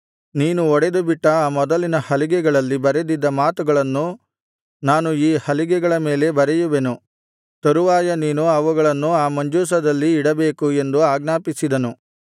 ನೀನು ಒಡೆದುಬಿಟ್ಟ ಆ ಮೊದಲಿನ ಹಲಿಗೆಗಳಲ್ಲಿ ಬರೆದಿದ್ದ ಮಾತುಗಳನ್ನು ನಾನು ಈ ಹಲಿಗೆಗಳ ಮೇಲೆ ಬರೆಯುವೆನು ತರುವಾಯ ನೀನು ಅವುಗಳನ್ನು ಆ ಮಂಜೂಷದಲ್ಲಿ ಇಡಬೇಕು ಎಂದು ಆಜ್ಞಾಪಿಸಿದನು